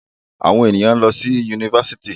Àwọn èèyàn ló ń lọ sí Yunifásitì.